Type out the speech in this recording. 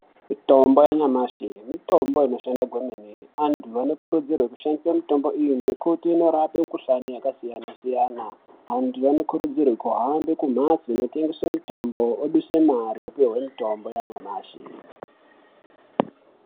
Mitombo yanyamashi mitombo inoshanda kwemene andu anokurudzirwe kushandisa mitombo iyi ngekuti inorapa mikuhlani yakasiyana siyana andu anokurudzirwe kuhambe kumbatso dzinotengeswe mitombo oduse mare opihwe mutombo yanyamashi.